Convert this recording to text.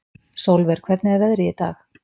Sólver, hvernig er veðrið í dag?